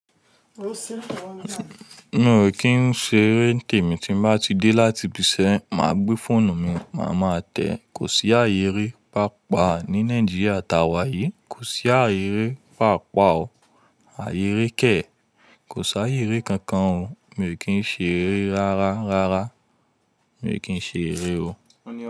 Mi ò kì í ṣe eré tèmì tí mo bá ti dé láti ibiṣẹ́, màá gbé fóònù mi, màá máa tẹ̀. Kò sí ààyè eré pàápàá ní Nàìjíríà ta wà yìí, kò sí ààyè ré pàápàá o. Ààyè ré kẹ̀, kò sí ààyè ré kankan o. Mi ò kì í n ṣe eré rárá, rárá. Mi ò kì í ṣe eré o.